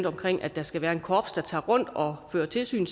omkring at der skal være et korps der tager rundt og fører tilsyn